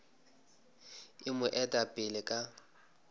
e mo eta pele ka